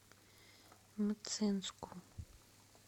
мценску